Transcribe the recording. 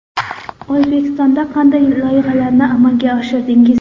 O‘zbekistonda qanday loyihalarni amalga oshirdingiz?